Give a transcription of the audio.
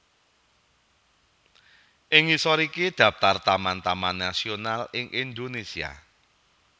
Ing ngisor iki daphtar taman taman nasional ing Indonésia